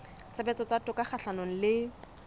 tshebetso tsa toka kgahlanong le